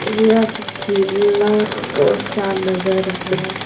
यह जिल्ला कोषा नगर है।